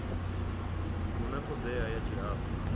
hu na thodea ya tshihadu